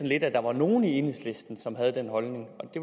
lidt at der var nogle i enhedslisten som havde den holdning